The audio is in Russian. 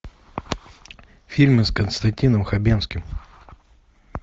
фильмы с константином хабенским